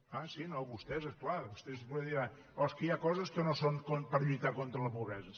ah sí no vostès és clar vostès diran oh és que hi ha coses que no són per lluitar contra la pobresa